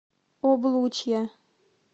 облучья